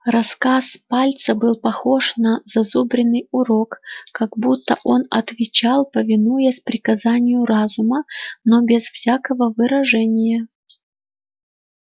рассказ пальца был похож на зазубренный урок как будто он отвечал повинуясь приказанию разума но без всякого выражения